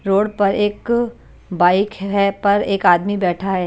Road पर एक bike है पर एक आदमी बैठा है।